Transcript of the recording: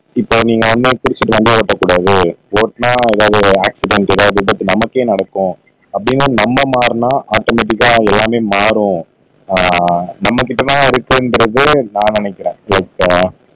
இப்போ நீங்க குடிச்சிட்டு வண்டி ஓட்டக்கூடாது ஓட்டினா ஏதாவது ஆக்சிடென்ட் ஏதாவது விபத்து நமக்கே நடக்கும் அப்படின்னா நம்ம மாறினா ஆட்டோமேடிகா அது எல்லாமே மாறும் ஆஹ் நம்மகிட்ட தான் இருக்கு என்கிறது நான் நினைக்கிறேன் ரைட் ஆஹ்